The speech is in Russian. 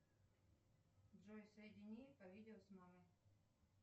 джой соедини по видео с мамой